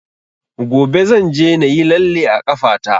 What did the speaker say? Gobe zan je na yi lalle a ƙafa ta